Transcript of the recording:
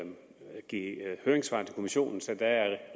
give høringssvar til kommissionen så der er